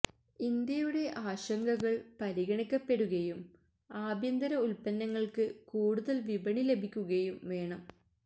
ഇന്ത്യയുടെ ആശങ്കകൾ പരിഗണിക്കപ്പെടുകയും ആഭ്യന്തര ഉൽപന്നങ്ങൾക്ക് കൂടുതൽ വിപണി ലഭിക്കുകയും വേണം